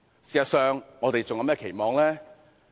事實上，我們還能有甚麼期望呢？